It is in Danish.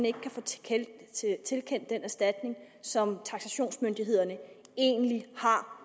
ikke kan få tilkendt tilkendt den erstatning som taksationsmyndighederne egentlig har